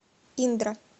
индра